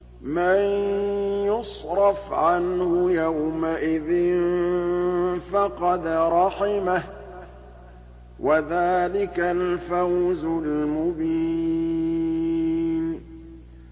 مَّن يُصْرَفْ عَنْهُ يَوْمَئِذٍ فَقَدْ رَحِمَهُ ۚ وَذَٰلِكَ الْفَوْزُ الْمُبِينُ